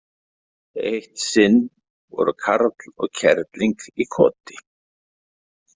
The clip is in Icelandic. Eitt sinn voru karl og kerling í koti.